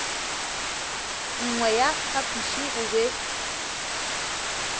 nngwe ya phapoši go be